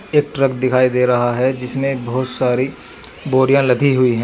एक ट्रक दिखाई दे रहा है जिसमें बहुत सारी बोरियां लदी हुई हैं।